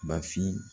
Bafin